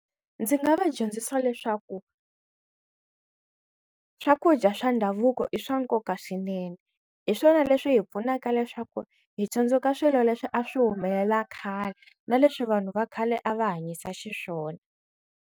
Ndzi nga va dyondzisa leswaku swakudya swa ndhavuko i swa nkoka swinene hi swona leswi hi pfunaka leswaku hi tsundzuka swilo leswi a swi humelela khale na leswi vanhu va khale a va hanyisa xiswona.